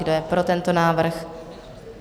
Kdo je pro tento návrh?